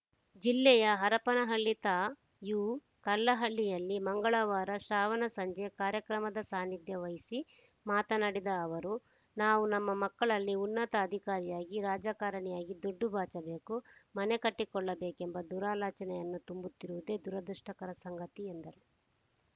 ಜಿಲ್ಲೆಯ ಹರಪನಹಳ್ಳಿ ತಾ ಯುಕಲ್ಲಹಳ್ಳಿಯಲ್ಲಿ ಮಂಗಳವಾರ ಶ್ರಾವಣ ಸಂಜೆ ಕಾರ್ಯಕ್ರಮದ ಸಾನಿಧ್ಯ ವಹಿಸಿ ಮಾತನಾಡಿದ ಅವರು ನಾವು ನಮ್ಮ ಮಕ್ಕಳಲ್ಲಿ ಉನ್ನತ ಅಧಿಕಾರಿಯಾಗಿ ರಾಜಕಾರಣಿಯಾಗಿ ದುಡ್ಡು ಬಾಚಬೇಕು ಮನೆ ಕಟ್ಟಿಕೊಳ್ಳಬೇಕೆಂಬ ದುರಾಲೋಚನೆಯನ್ನೇ ತುಂಬುತ್ತಿರುವುದೇ ದುರಾದೃಷ್ಟಕರ ಸಂಗತಿ ಎಂದರು